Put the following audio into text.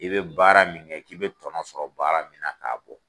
I bɛ baara min kɛ, k'i bɛ tɔnɔn sɔrɔ baara min na k'a bɔ